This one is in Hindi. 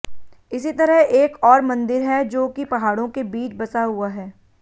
इसी तरह एक और मंदिर है जो कि पहाड़ों के बीच बसा हुआ है